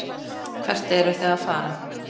Hvert eruð þið að fara?